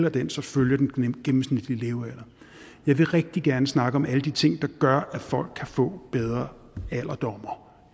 at den så følger den gennemsnitlige levealder jeg vil rigtig gerne snakke om alle de ting der gør at folk kan få bedre alderdom